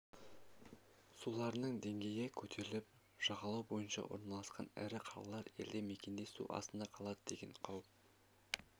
суларының деңгейі көтеріліп жағалау бойына орналасқан ірі қалалар елді мекендер су астында қалады деген қауіп